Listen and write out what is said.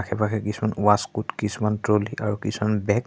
আশে-পাশে কিছুমান ৱাচক'ট কিছুমান ট্ৰ'লি আৰু কিছুমান বেগ